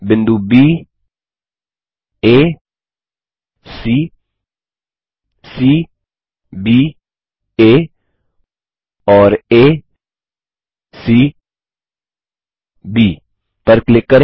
बिंदु baसी cbआ और acब पर क्लिक करें